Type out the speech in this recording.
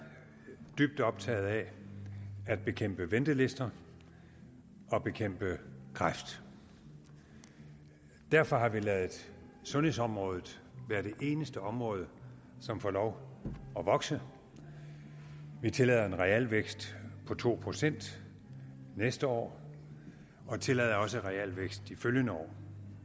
er dybt optaget af at bekæmpe ventelister og bekæmpe kræft derfor har vi ladet sundhedsområdet være det eneste område som får lov at vokse vi tillader en realvækst på to procent næste år og tillader også realvækst de følgende år